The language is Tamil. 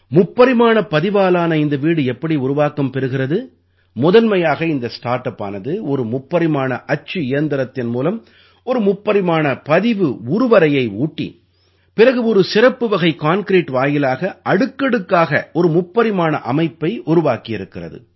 முப்பரிமாணப் பதிவாலான இந்த வீடு எப்படி உருவாக்கம் பெறுகிறது முதன்மையாக இந்த ஸ்டார்ட் அப்பானது ஒரு முப்பரிமாண அச்சு இயந்திரத்தின் மூலம் ஒரு முப்பரிமாணப் பதிவு உருவரையை ஊட்டி பிறகு ஒரு சிறப்புவகை கான்கிரீட் வாயிலாக அடுக்கடுக்காக ஒரு முப்பரிமாண அமைப்பை உருவாக்கியிருக்கிறது